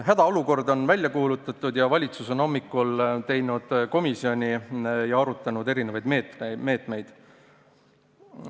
Hädaolukord on välja kuulutatud ning valitsus on hommikul moodustanud komisjoni ja arutanud erinevaid meetmeid.